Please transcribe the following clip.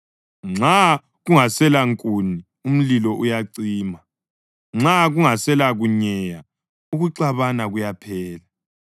Nxa kungaselankuni umlilo uyacima; nxa kungaselakunyeya ukuxabana kuyaphela.